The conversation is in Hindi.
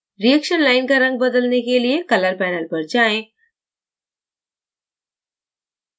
reaction line का रंग बदलने के लिये color panel पर जाएँ